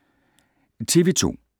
TV 2